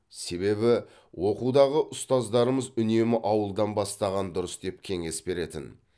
себебі оқудағы ұстаздарымыз үнемі ауылдан бастаған дұрыс деп кеңес беретін